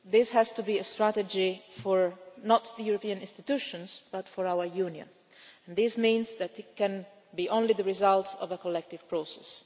This has to be a strategy not for the European institutions but for our Union, and this means it can only be the result of a collective process.